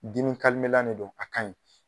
Dimi de don a ka ɲi.